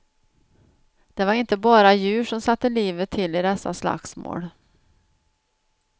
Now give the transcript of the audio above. Det var inte bara djur som satte livet till i dessa slagsmål.